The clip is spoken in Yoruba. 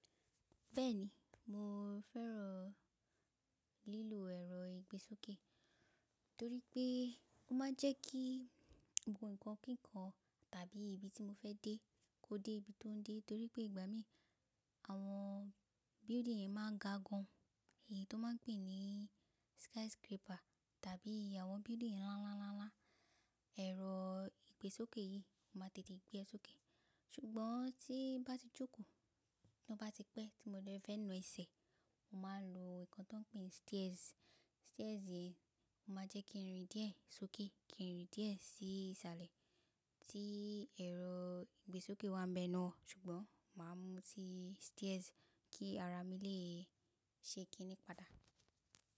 Bẹ́ẹ̀ni, mo fẹ́ràn lílo ẹ̀rọ ìgbésókè torí pé ó máa ń jẹ́ kí gbogbo nǹkan kíkan tàbí ibi tí mo fẹ́ dé kó dé ibi tó ń dé, torí pé ìgbà mí àwọn building yẹn máa ga gan, èyí ti won máa ń pè ní skyscraper tàbí àwọn building ńlá ńlá ńlá ẹ̀rọ ìgbésókè yìí ó máa tètè gbé ẹ sókè. Ṣùgbọ́n tí bá ti jókòó, bá ti pẹ́ tí mo bá fẹ́ na ẹsẹ̀, mo máa lo nǹkan tó ń pè ní stairs. Stairs yìí ó máa jẹ́ kí n rìn díẹ̀ sókè, kí n rìn díẹ̀ sí isalẹ̀. Tí ẹ̀rọ ìgbésókè wa bẹ náà, ṣùgbọ́n máa mú tí stairs kí ara mi lè se kíní padà.